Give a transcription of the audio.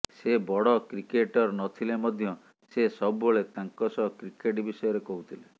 ସେ ବଡ଼ କ୍ରିକେଟର ନଥିଲେ ମଧ୍ୟ ସେ ସବୁବେଳେ ତାଙ୍କ ସହ କ୍ରିକେଟ ବିଷୟରେ କହୁଥିଲେ